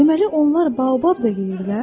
Deməli onlar Baobab da yeyirlər?